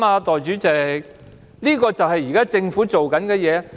但這就是現在政府做的事。